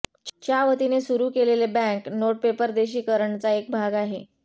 च्या वतीने सुरू केलेले बँक नोट पेपर देशीकरणचा एक भाग आहे